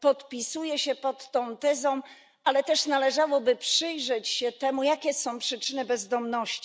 Podpisuję się pod tą tezą, ale też należałoby przyjrzeć się temu, jakie są przyczyny bezdomności.